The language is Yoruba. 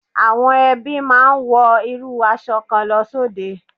Àwọn ẹbí máa ń wọ irú aṣọ kan lọ sóde.